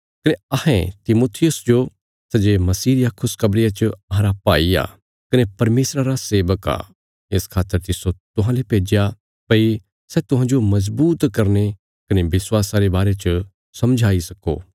कने अहें तिमुथियुस जो सै जे मसीह रिया खुशखबरिया च अहांरा भाई आ कने परमेशरा रा सेवक आ इस खातर तिस्सो तुहांले भेज्या भई सै तुहांजो मजबूत करने कने विश्वासा रे बारे च समझाई सक्को